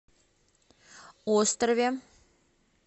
острове